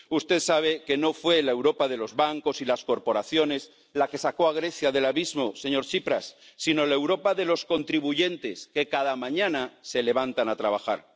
Usted sabe que no fue la Europa de los bancos y las corporaciones la que sacó a Grecia del abismo, señor Tsipras, sino la Europa de los contribuyentes, que cada mañana se levantan a trabajar.